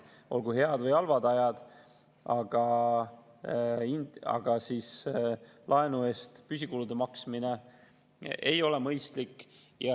Olgu head või halvad ajad, aga laenu eest püsikulude maksmine ei ole mõistlik.